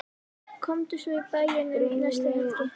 Komdu svo í bæinn um næstu helgi.